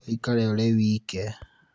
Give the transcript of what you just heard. ũikare ũrĩ wike